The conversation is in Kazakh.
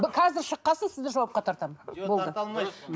қазір шыққан соң сізді жауапқа тартамын жоқ тарта алмайсыз